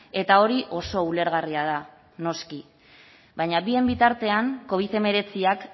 eta hori oso ulergarria da noski baina bien bitartean covid hemeretziak